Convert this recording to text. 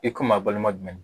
I komi a balima jumɛn ni